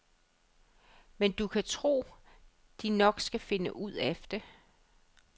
Men du kan tro, de nok skal finde ud af det.